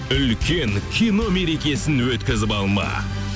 үлкен кино мерекесін өткізіп алма